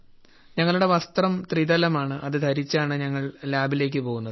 ഞങ്ങളുടെ വസ്ത്രം ത്രിതലമാണ് അത് ധരിച്ചാണ് ഞങ്ങൾ ഞങ്ങൾ ലാബിലേക്ക് പോകുന്നത്